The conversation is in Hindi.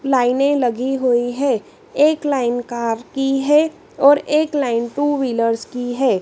लाइनें लगी हुई है एक लाइन कार की है और एक लाइन टू व्हीलर्स की है।